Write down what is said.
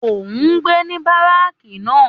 Òun gbé ní báràkì náà